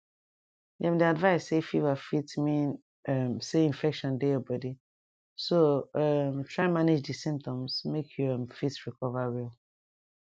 dem dey advise say fever fit mean um say infection dey your body so um try manage di symptoms make you um fit recover well